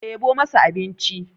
ɗebo masa abinci!